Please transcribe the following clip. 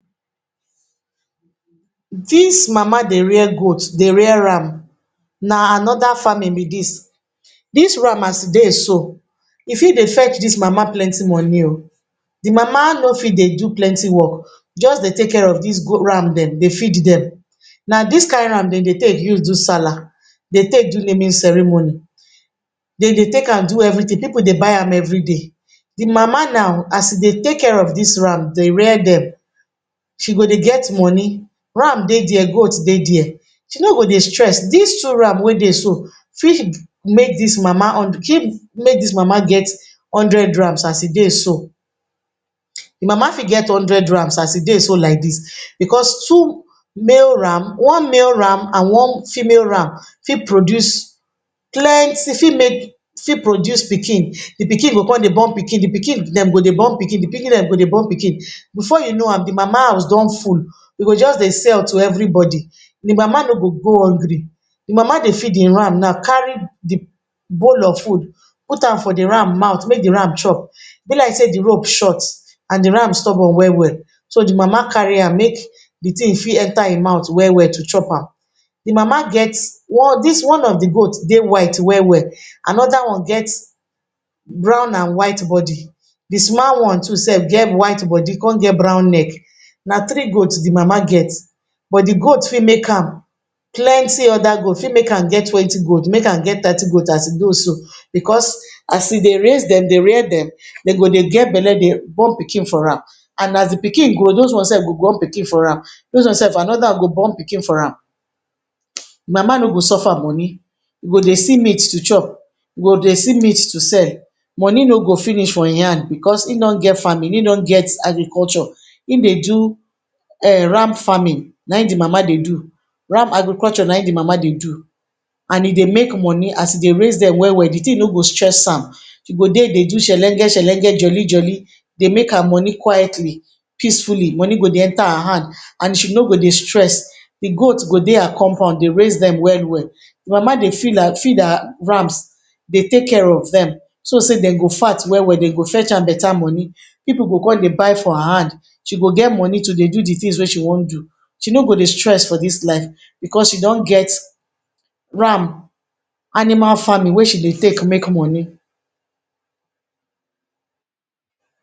Dis mama dey rear goat, dey rear ram. Na another farming be dis. Dis ram as e dey so, e fit dey fetch dis mama plenty monI o. De mama no fit dey do plenty work, just dey take care of dis ram dem, dey feed dem. Na dis kain ram dem dey take use do sallah, dey take do naming ceremony, dem dey take am do everything. Pipu dey buy am everyday. De mama now, as e dey take care of dis ram, dey rear dem, she go dey get moni. Ram dey dia, goat dey dia. She no go dey stress. Dis two ram wey dey so fit make dis mama, make dis mama get hundred rams as e dey so. De mama fit get hundred rams as e dey so like dis, because two male ram, one male ram and one female ram fit produce plenty, fit make, fit produce pikin, de pikin go come dey born pikin, de pikin dem go dey born pikin, de pikin dem go dey born pikin. Before you know am, de mama house don full, e go just dey sell to everybody. De mama no go go hungry. De mama dey feed im ram now, carry de bowl of food put am for de ram mouth make de ram chop. Be like sey de rope short and de ram stubborn well well, so de mama carry am make de thing fit enter im mouth well well to chop am. De mama get one, dis, one of de goat dey white well well, another one get brown and white body, de one too sef get white body come get brown neck. Na three goat de mama get, but de goat fit make am plenty other goat, fit make am get twenty goat, make am get thirty goat as e go so, because as e dey raise dem dey rear dem, dem go dey get bele dey born pikin for am, and as de pikin grow, those one sef go born pikin for am, those one sef another one go born pikin for am. Mama no go suffer moni, e go dey see meat to chop, e go dey see meat to sell, moni no go finish for im hand because im don get farming, im don get agriculture. Im dey do um ram farming na im de mama dey do, ram agriculture na im de mama dey do. And e dey make moni, as e dey raise dem well well, de thing no go stress am. She go dey dey do shelenge shelenge, jolly jolly, dey make her moni quietly, peacefully. Moni go dey enter her hand, and she no go dey stress. De goat go dey her compound dey raise dem well well. De mama dey feed her feed her rams, dey take care of dem, so sey dem go fat well well, dem go fetch am beta moni, pipu go come dey buy for her hand, she go get moni to dey do de things wey she won do. She no go dey stress for dis life because she don get ram, animal farming wey she dey take make moni.